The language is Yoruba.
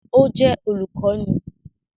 Ó jẹ́ olùkọ́ni